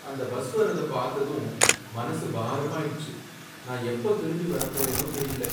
அந்த பஸ் வர்றதை பாத்ததும் மனசு பாரமாயிடுச்சு. நான் எப்ப திரும்பி வரப்போறேனோ தெரியல.